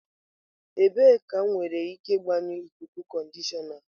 Ebee ka m nwere ike gbanyụọ ikuku conditioner?